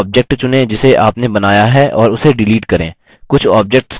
कोई object चुनें जिसे आपने बनाया है और इसे डिलीट करें